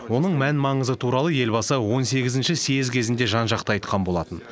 оның мән маңызы туралы елбасы он сегізінші съезд кезінде жан жақты айтқан болатын